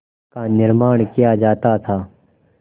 का निर्माण किया जाता था